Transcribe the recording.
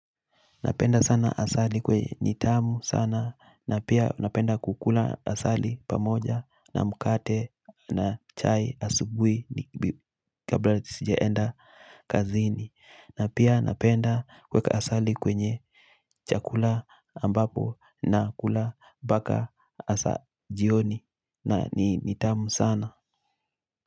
Napenda sana asali kwenye nitamu sana na pia napenda kukula asali pamoja na mkate na chai asubuhi kabla sijaenda kazini na pia napenda kuweka asali kwenye chakula ambapo na kula mpaka asa jioni na nitamu sana.